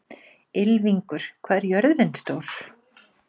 Ylfingur, hvað er jörðin stór?